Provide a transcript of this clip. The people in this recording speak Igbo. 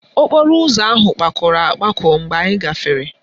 Okporo ụzọ ahụ kpakọrọ akpakọ mgbe anyị gafere